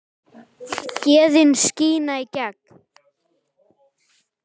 Gæðin skína í gegn.